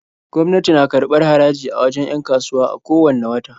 Gwamnati na karbar haraji a wajen 'yan kasuwa a ko wanne wata.